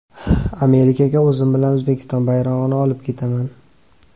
Amerikaga o‘zim bilan O‘zbekiston bayrog‘ini olib ketaman.